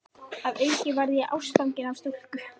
Að auki varð ég ástfanginn af stúlku.